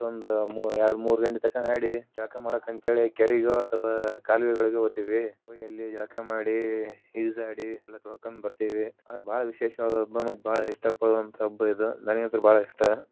ಅವತ್ತೊಂದ ಎರಡ ಮೂರ ಗಂಟೆ ತನಕ ಆಡಿ ಜಳಕಾ ಮಾಡಕ ಅಂತ ಕೇರಿಗೆ ಅಥವಾ ಕಾಲುವೆಗಳಿಗೆ ಹೋತೀವಿ ಹೋಗಿ ಅಲ್ಲಿ ಜಳಕ ಮಾಡಿ ಈಜಾಡಿ ಎಲ್ಲಾ ತೋಳಕಂಡ ಬರ್ತೀವಿ ಆದರ ಬಾಳ ವಿಶೇಷವಾದ ಹಬ್ಬಾ ಮತ್ತ ಬಾಳ ಇಷ್ಟ ಪಡುವಂತ ಹಬ್ಬ ಇದ ನನಗ ಅಂತೂ ಬಾಳ ಇಷ್ಟ.